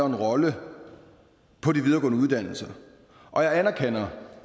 en rolle på de videregående uddannelser og jeg anerkender